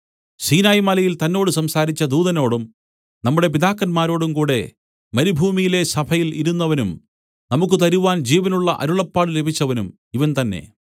സീനായ്‌ മലയിൽ തന്നോട് സംസാരിച്ച ദൂതനോടും നമ്മുടെ പിതാക്കന്മാരോടും കൂടെ മരുഭൂമിയിലെ സഭയിൽ ഇരുന്നവനും നമുക്കു തരുവാൻ ജീവനുള്ള അരുളപ്പാട് ലഭിച്ചവനും ഇവൻ തന്നേ